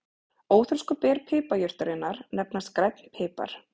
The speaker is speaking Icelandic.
Óþroskuð ber piparjurtarinnar nefnast grænn pipar.